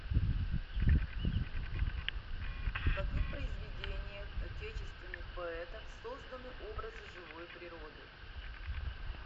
в каких произведениях отечественных поэтов созданы образы живой природы